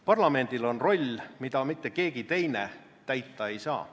Parlamendil on roll, mida keegi teine täita ei saa.